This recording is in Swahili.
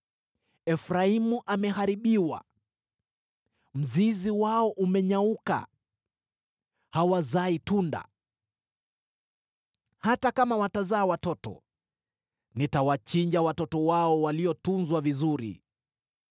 Efraimu ameharibiwa, mzizi wao umenyauka, hawazai tunda. Hata kama watazaa watoto, nitawachinja watoto wao waliotunzwa vizuri.”